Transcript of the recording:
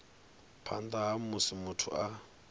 phanḓa ha musi muthu a